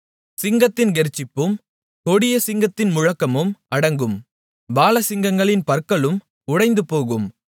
சிங்கத்தின் கெர்ச்சிப்பும் கொடிய சிங்கத்தின் முழக்கமும் அடங்கும் பாலசிங்கங்களின் பற்களும் உடைந்துபோகும்